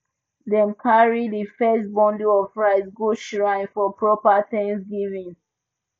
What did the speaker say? dem carry di first bundle of rice go shrine for proper thanksgiving